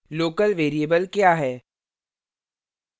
local local variable क्या है